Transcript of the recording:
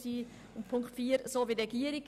Bei Ziffer 4 halten wir uns an die Regierung.